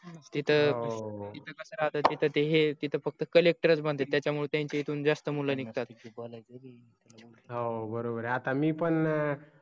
तिथ कस राहत तिथ ते हे तिथं फक्त collector बनते त्याच्या मुळे त्यांच्या इथून जास्त मूल निगतात हो बरोबर आहे आता मी पण